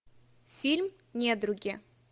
фильм недруги